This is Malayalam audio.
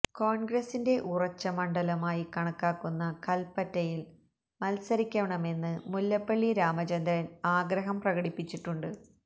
കോൺഗ്രസിന്റെ ഉറച്ച മണ്ഡലമായി കണക്കാക്കുന്ന കൽപ്പറ്റയിൽ മത്സരിക്കണമെന്ന് മുല്ലപ്പള്ളി രാമചന്ദ്രൻ ആഗ്രഹം പ്രകടിപ്പിച്ചിട്ടുണ്ട്